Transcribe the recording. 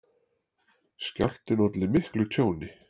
Skjálftinn olli miklu tjóni